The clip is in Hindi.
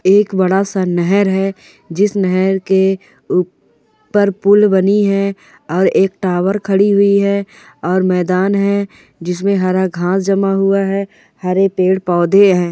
ये एक बड़ा सा नहर है जिस नहर के ऊपर पुल बनी है और एक टावर खड़ी हुई है और मैदान है जिस में हरा घास जमा हुआ है हरे पेड़ पौधे हैं।